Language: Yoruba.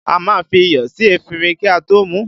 A má ń fi iyọ̀ sí efinrin kí a tó mú u